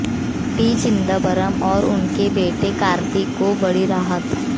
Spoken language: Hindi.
पी चिदंबरम और उनके बेटे कार्ती को बड़ी राहत